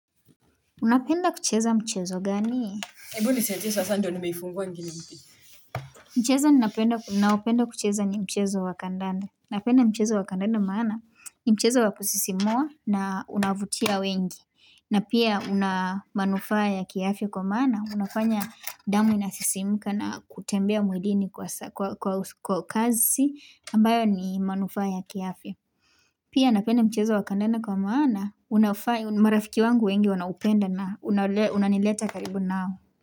Unapenda kucheza mchezo gani? Ebu nisetie sasa ndio nimeifunguwa ngini. Mchezo ninaopenda kucheza ni mchezo wa kandande. Napenda mchezo wa kandanda maana, ni mchezo wa kusisimua na unavutia wengi. Na pia una manufaa ya kiafya kwa maana. Unafanya damu inasisimuka na kutembea mwilini kwa kazi. Ambayo ni manufaa ya kiafya. Pia napenda mchezo wa kandanda kwa maana. Unafaa, marafiki wangu wengi wanaupenda na unanileta karibu nao.